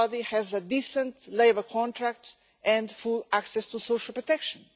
has a decent labour contract and full access to social protection.